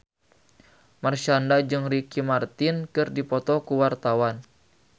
Marshanda jeung Ricky Martin keur dipoto ku wartawan